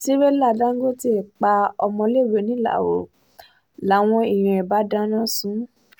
tìrẹ̀là dángọ́tẹ̀ pa ọmọléèwé ńìlárò làwọn èèyàn bá dáná sun ún